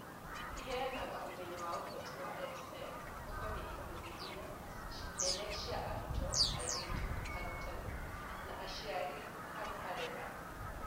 Ĩheanaga ũmenyo wa ũhoti wa EdTech ũkoniĩ ikundi inya nene cia arutwo , airĩtu , arutani na aciari / arera .